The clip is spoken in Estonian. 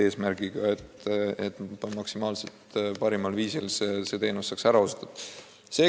Eesmärk ju on, et maksimaalselt parimal viisil saaks inimestele arstiabi osutatud.